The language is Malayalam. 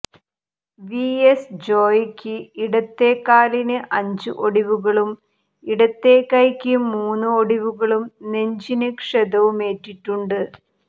വി എസ് ജോയിക്ക് ഇടത്തെ കാലിന് അഞ്ച് ഒടിവുകളും ഇടത്തെ കൈയ്ക്ക് മൂന്ന് ഒടിവുകളും നെഞ്ചിന് ക്ഷതവുമേറ്റിട്ടുണ്ട്